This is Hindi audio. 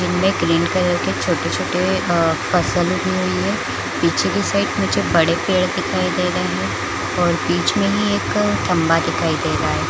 इनमे ग्रीन-कलर के छोटे छोटे आ बांसे पीछे के साइड मुझे बड़े पेड़ दिखाई दे रहे है और बिच में ही एक खंम्भा दिखाई दे रहा है।